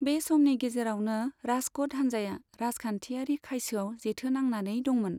बे समनि गेजेरावनो, राजक'ट हान्जाया राजखान्थियारि खायसोआव जेथो नांनानै दंमोन।